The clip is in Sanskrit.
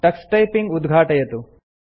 टक्स टाइपिंग उद्घाटयतु